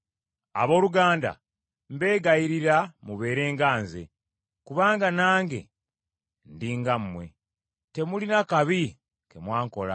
Abooluganda, mbeegayirira mubeere nga nze, kubanga nange ndi nga mmwe. Temulina kabi ke mwankola;